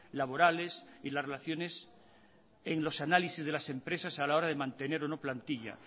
laborales y las relaciones en los análisis de las empresas a la hora de mantener o no plantilla